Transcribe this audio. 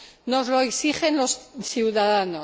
nos lo exigen los ciudadanos.